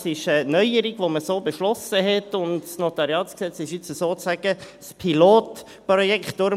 Das ist eine Neuerung, die man so beschlossen hat, und das NG ist nun sozusagen das Pilotprojekt.